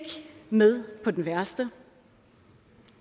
med på den værste